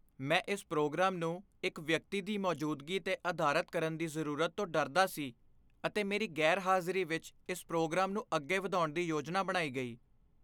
ਮੈਂ ਇਸ ਪ੍ਰੋਗਰਾਮ ਨੂੰ ਇੱਕ ਵਿਅਕਤੀ ਦੀ ਮੌਜੂਦਗੀ 'ਤੇ ਅਧਾਰਤ ਕਰਨ ਦੀ ਜ਼ਰੂਰਤ ਤੋਂ ਡਰਦਾ ਸੀ ਅਤੇ ਮੇਰੀ ਗ਼ੈਰਹਾਜ਼ਰੀ ਵਿੱਚ ਇਸ ਪ੍ਰੋਗਰਾਮ ਨੂੰ ਅੱਗੇ ਵਧਾਉਣ ਦੀ ਯੋਜਨਾ ਬਣਾਈ ਗਈ।